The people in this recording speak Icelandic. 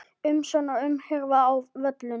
Umsjón og umhirða á völlum